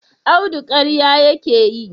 Audu karya yake yi?